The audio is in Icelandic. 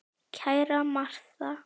Kæra Martha.